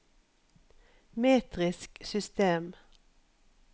metrisk system